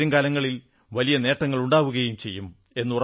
വരുംകാലങ്ങളിൽ വലിയ നേട്ടങ്ങളുണ്ടാവുകയും ചെയ്യും